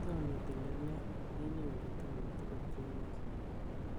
Kotom itil tilet, inyoru tuguk tugul chemoche.